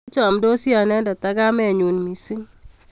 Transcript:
Kichamndosi anendet ak kamennyu missing'